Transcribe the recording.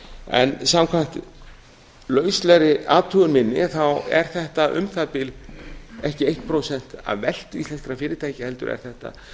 aðra mynt samkvæmt lauslegri athugun minni er þetta um það bil ekki eitt prósent af veltu íslenskra fyrirtækja heldur er þetta